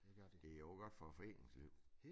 Det jo også godt for æ foreningsliv